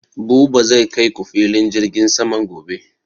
Buba zai kai ku filin jirgin saman gobe